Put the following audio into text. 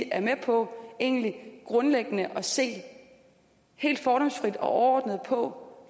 er med på egentlig grundlæggende at se helt fordomsfrit og overordnet på